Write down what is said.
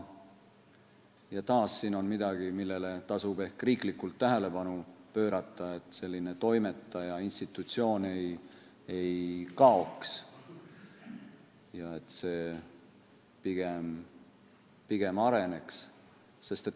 Taas on siin midagi, millele tasub ehk riiklikult tähelepanu pöörata, et selline toimetaja institutsioon ei kaoks, pigem areneks.